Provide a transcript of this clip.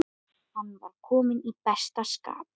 Hann var kominn í besta skap.